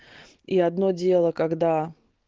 и одно дело когда